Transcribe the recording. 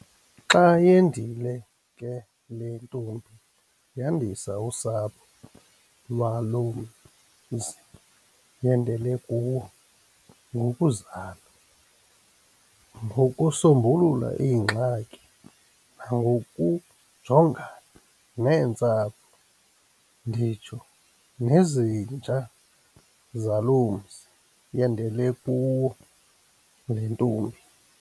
Xa yendile ke le ntombi yandisa usapho lwalo mzi yendele kuwo ngokuzala, ngokusombulula ingxaki nangokujongana neentsapho, nditsho nezinja zalo mzi yendele kuwo le ntombi.